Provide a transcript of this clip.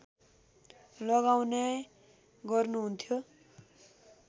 लगाउने गर्नुहुन्थ्यो